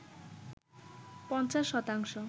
৫০ শতাংশ